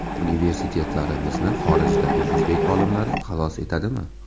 Universitetlarimizni xorijdagi o‘zbek olimlari xalos etadimi?